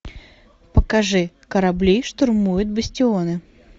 покажи корабли штурмуют бастионы